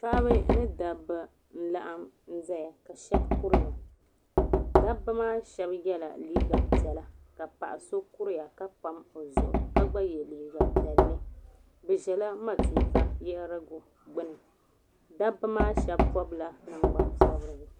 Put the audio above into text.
Paɣiba ni dabba n laɣim zayaka shɛb kuriya dabba maa shɛb yiɛla liiga piɛlla ka paɣi so kuriya ka pam o zuɣu ka gba yiɛ liiga piɛli bi zila matuuka yiɣirigu gbuni dabba maa shɛb pɔbila nangban pobeigu.